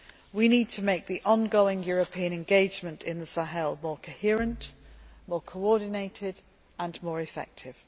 We need to make the ongoing European engagement in the Sahel more coherent, more coordinated and more effective.